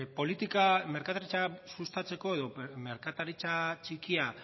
politika merkataritza sustatzeko edo merkataritza txikia